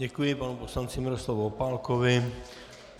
Děkuji panu poslanci Miroslavu Opálkovi.